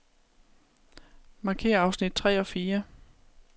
Markér afsnit tre og fire.